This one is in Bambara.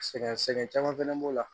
Sɛgɛn sɛ sɛgɛn caman fɛnɛ b'o la